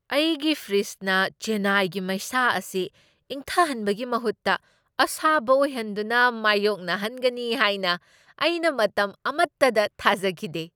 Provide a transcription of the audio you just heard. ꯑꯩꯒꯤ ꯐ꯭ꯔꯤꯖꯅ ꯆꯦꯟꯅꯥꯏꯒꯤ ꯃꯩꯁꯥ ꯑꯁꯤ ꯏꯪꯊꯍꯟꯕꯒꯤ ꯃꯍꯨꯠꯇ ꯑꯁꯥꯕ ꯑꯣꯏꯍꯟꯗꯨꯅ ꯃꯥꯌꯣꯛꯅꯍꯟꯒꯅꯤ ꯍꯥꯏꯅ ꯑꯩꯅ ꯃꯇꯝ ꯑꯃꯠꯇꯗ ꯊꯥꯖꯈꯤꯗꯦ ꯫